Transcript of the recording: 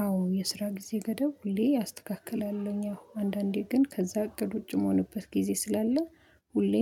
አዎ የስራ ጊዜ ገደብ ሁሌ አስተካክላለሁኝ አሁን አንዳንዴ ግን ከዛ እቅድ ውጪ የምሆንበት ጊዜ ስላለ ሁሌ